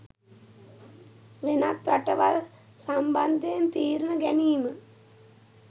වෙනත් රටවල් සම්බන්ධයෙන් තීරණ ගැනීම